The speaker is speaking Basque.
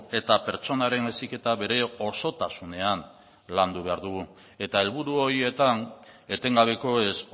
eta pertsonaren heziketa bere osotasunean landu behar dugu eta helburu horietan etengabekoez